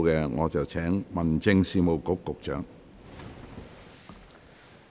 我現在請民政事務局局長發言。